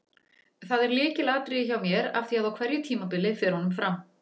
Það er lykilatriði hjá mér af því að á hverju tímabili fer honum fram.